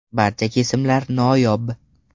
Barcha kesimlar noyob.